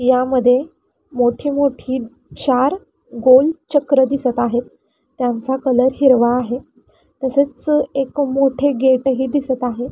यामध्ये मोठी मोठी चार गोल चक्र दिसत आहेत त्यांचा कलर हिरवा आहे तसेच एक मोठे गेटही दिसत आहे.